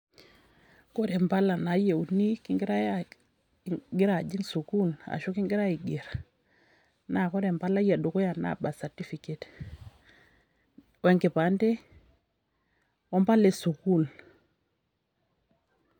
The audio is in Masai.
Ore impala naa yieuni kingirai aajing ingirajiing sukuul ashu kingirai aiger, ore empalai edukuya naa birth certificate wenkipande wompala esukuul